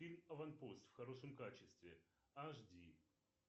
фильм аванпост в хорошем качестве ашди